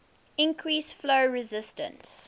increase flow resistance